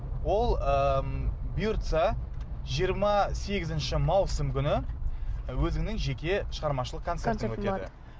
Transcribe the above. ол ыыы м бұйыртса жиырма сегізінші маусым күні өзіңнің жеке шығармашылық концерт